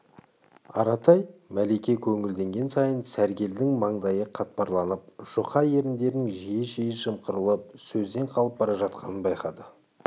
аратай мәлике көңілденген сайын сәргелдің маңдайы қатпарланып жұқа еріндерінің жиі-жиі жымқырылып сөзден қалып бара жатқанын байқады